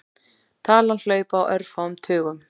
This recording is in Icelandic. Talan hlaupi á örfáum tugum.